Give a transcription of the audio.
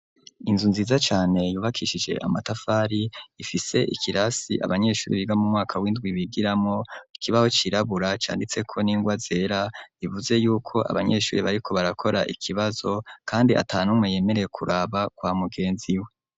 Inzu nziza cane yubakishije amatafari ifise ikirasi abanyeshuri biga mu mwaka w'indwi bigiramo ikibaho cirabura canditse ko n'ingwa zera bivuze yuko abanyeshuri bariko barakora ikibazo kandi ata numwe yemereye kuraba kwa mugenzi we.